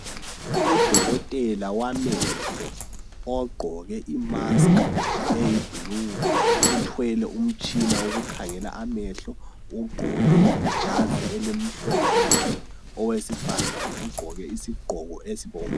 Udokotela wamehlo ogqoke imasiki eyibhulu uthwele umtshini wokukhangela amehlo ugqoke ijazi elimhlophe nke owesifazana ugqoke isigqoko esibomvu.